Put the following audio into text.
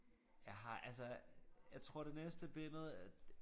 Jeg har altså jeg tror det næste billede øh